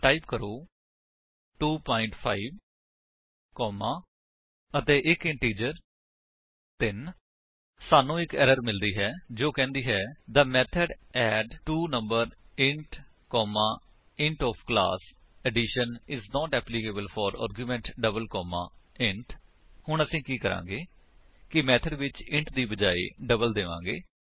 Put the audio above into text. ਤਾਂ ਟਾਈਪ ਕਰੋ 2 5 ਕੋਮਾ ਅਤੇ ਇੱਕ ਇੰਟੀਜਰ 3 ਸਾਨੂੰ ਇੱਕ ਐਰਰ ਮਿਲਦੀ ਹੈ ਜੋ ਕਹਿੰਦੀ ਹੈ the method add two numbers int comma int of the class addition is not applicable for the argument double comma int ਹੁਣ ਅਸੀ ਕੀ ਕਰਾਂਗੇ ਕਿ ਮੇਥਡ ਵਿੱਚ ਇੰਟ ਦੇ ਬਜਾਏ ਡਬਲ ਦੇਵਾਂਗੇ